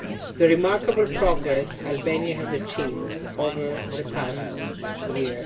the remarkable progress Albania has made over the past year.